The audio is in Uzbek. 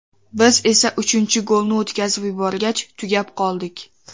Biz esa uchinchi golni o‘tkazib yuborgach, tugab qoldik.